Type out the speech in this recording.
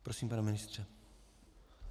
Prosím, pane ministře.